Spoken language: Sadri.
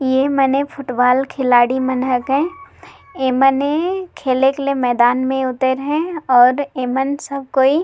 ये मैने फुटबॉल खिलाड़ी मन हके ऐ मने खेलक ला मैदान में उतैर है और ऐ मन सब कोई--